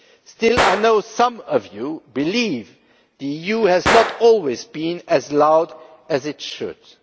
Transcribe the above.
Still, I know some of you believe the EU has not always been as loud as it should be.